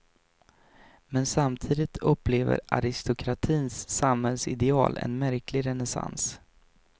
Men samtidigt upplever aristokratins samhällsideal en märklig renässans.